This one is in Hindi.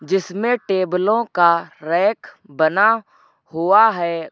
जिसमें टेबलों का रैंक बना हुआ है।